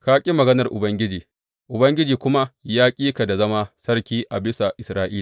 Ka ƙi maganar Ubangiji, Ubangiji kuma ya ƙi ka da zama sarki a bisa Isra’ila.